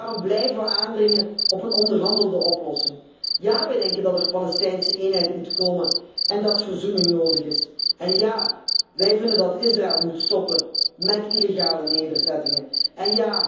Daarom blijven we aandringen op een onderhandelde oplossing. Ja, wij denken dat er Palestijnse eenheid moet komen en dat verzoening nodig is. En ja, wij vinden dat Israël moet stoppen illegale nederzettingen te bouwen.